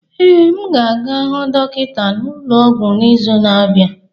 Ee, m ga-aga hụ dọkịta n'ụlọ ọgwụ n'izu na-abịa.